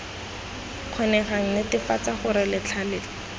kgonegang netefatsa gore letlha la